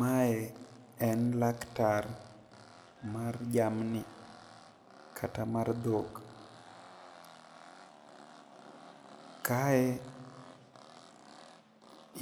mae en laktar mar jamni kata mar dhok, kae